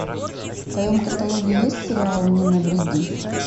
в твоем каталоге есть сериал не навреди